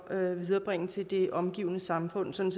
at viderebringe til det omgivende samfund sådan